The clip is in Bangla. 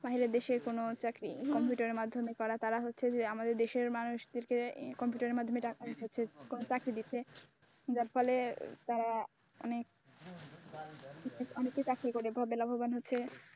বাইরের দেশের কোন চাকরি কম্পিউটারের মাধ্যমে করে তারা হচ্ছে যে আমাদের দেশের মানুষ দেরকে কম্পিউটারের মাধ্যমে টাকা ইনকাম করছে চাকরি দিচ্ছে যার ফলে তারা অনেক অনেকেই চাকরি করে লাভবান হচ্ছে।